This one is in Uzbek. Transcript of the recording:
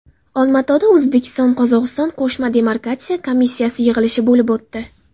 Olmaotada O‘zbekiston-Qozog‘iston qo‘shma demarkatsiya komissiyasi yig‘ilishi bo‘lib o‘tdi.